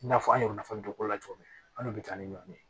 I n'a fɔ an y'o nafa dɔn o la cogo min an de bɛ taa ni ɲɔɔn ye